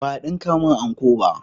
Ba a dinka mun anko ba